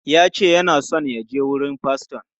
Ya ce yana so ya je wurin faston.